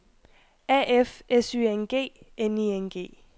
A F S Y N G N I N G